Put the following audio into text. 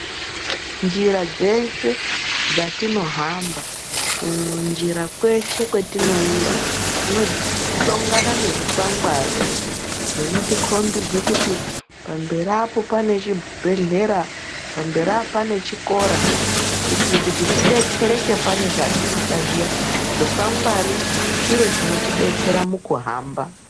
Njira dzeshe dzatinohamba, kunjira kweshe kwatinoenda tinohlangana nezvikwangwari zvinotikombedze kuti pamberi apo pane chibhehlera, pamberi apo pane chikora, kuitire kuti tidetsereke pane zvatinoda zviya. Zvikwangwari chiro chinotidetsera pakuhamba.